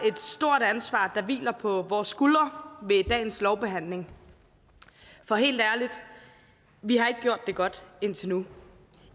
stort ansvar der hviler på vores skuldre ved dagens lovbehandling for helt ærligt vi har ikke gjort det godt indtil nu